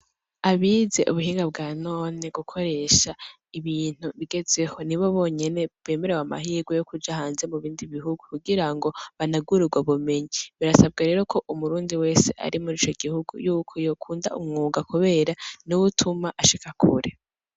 Abize ubuhinga bwanone gukoresha ibintu bigezweho nibo bonyene bemerewe amahigwe yokuja hanze mubindi bihugu kugirango banegure ubwo bumenyi, birasabwa rero yuko umurundi wese ari mur'ico gihugu yuko yokunda umwuga kubera niwo utuma ashika kure.